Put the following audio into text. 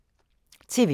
TV 2